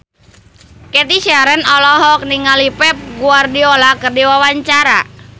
Cathy Sharon olohok ningali Pep Guardiola keur diwawancara